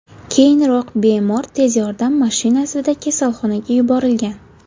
Keyinroq bemor tez yordam mashinasida kasalxonaga yuborilgan.